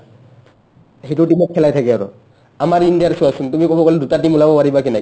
সেটোৰ team ত খেলাই থাকে আমাৰ ইণ্ডিয়াৰ চোৱাচোন তুমি ক'ব গ'লে দুটা team ওলাব পাৰিবা কেনে